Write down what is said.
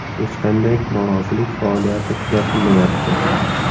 Hech qanday norozilik faoliyati kuzatilmayapti.